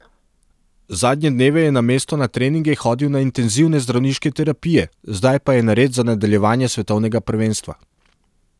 Zadnje dneve je namesto na treninge hodil na intenzivne zdravniške terapije, zdaj pa je nared za nadaljevanje svetovnega prvenstva.